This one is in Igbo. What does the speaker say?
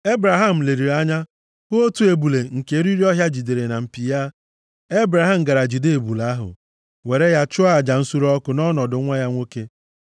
Ebraham leliri anya hụ otu ebule nke eriri ọhịa jidere na mpi ya. Ebraham gara jide ebule ahụ, were ya chụọ aja nsure ọkụ nʼọnọdụ nwa ya nwoke.